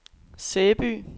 Sæby